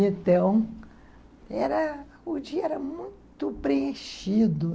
Então, era... o dia era muito preenchido.